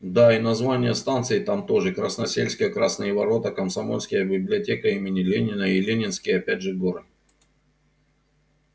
да и названия станций там тоже красносельская красные ворота комсомольские библиотека имени ленина и ленинские опять же горы